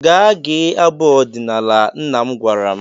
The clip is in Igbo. Gaa gee abụ ọdinala," nna m gwara m.